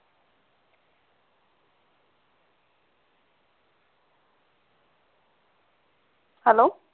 hello